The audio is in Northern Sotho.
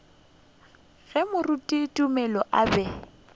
ge moruti tumelo a be